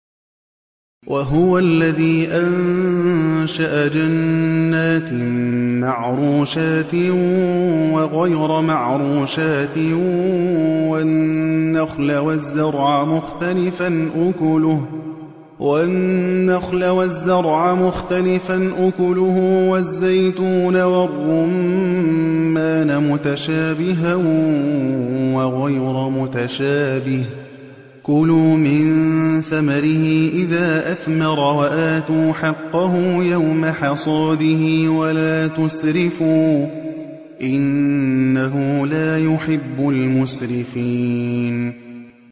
۞ وَهُوَ الَّذِي أَنشَأَ جَنَّاتٍ مَّعْرُوشَاتٍ وَغَيْرَ مَعْرُوشَاتٍ وَالنَّخْلَ وَالزَّرْعَ مُخْتَلِفًا أُكُلُهُ وَالزَّيْتُونَ وَالرُّمَّانَ مُتَشَابِهًا وَغَيْرَ مُتَشَابِهٍ ۚ كُلُوا مِن ثَمَرِهِ إِذَا أَثْمَرَ وَآتُوا حَقَّهُ يَوْمَ حَصَادِهِ ۖ وَلَا تُسْرِفُوا ۚ إِنَّهُ لَا يُحِبُّ الْمُسْرِفِينَ